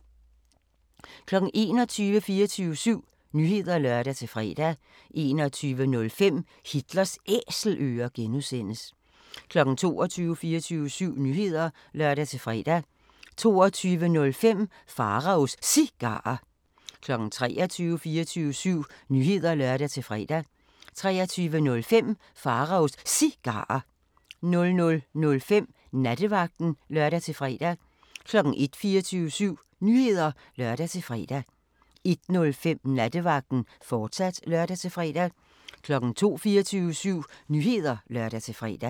21:00: 24syv Nyheder (lør-fre) 21:05: Hitlers Æselører (G) 22:00: 24syv Nyheder (lør-fre) 22:05: Pharaos Cigarer 23:00: 24syv Nyheder (lør-fre) 23:05: Pharaos Cigarer 00:05: Nattevagten (lør-fre) 01:00: 24syv Nyheder (lør-fre) 01:05: Nattevagten, fortsat (lør-fre) 02:00: 24syv Nyheder (lør-fre)